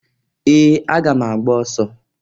Ee! Aga m agba ọsọ.